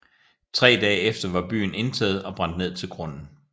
Tre dage efter var byen indtaget og brændt ned til grunden